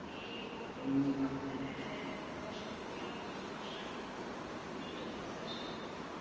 এই রোগ টোগ তো বাচ্চাদের বেড়ে যায় বয়স্ক লোকেরও তো সমস্যা এমনি চলতে চে আসলে